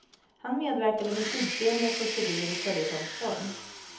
Han medverkade med tidsenliga kåserier i följetongsform.